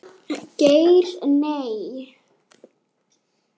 Geir Nei.